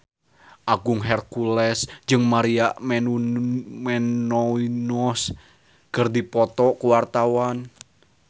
Agung Hercules jeung Maria Menounos keur dipoto ku wartawan